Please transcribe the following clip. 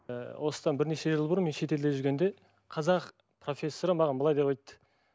ы осыдан бірнеше жыл бұрын мен шетелде жүргенде қазақ профессоры маған былай деп айтты